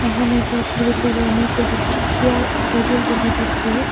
এখানে ঘরটির ভিতরে অনেকগুলি টিচার ও টেবিল দেখা যাচ্ছে।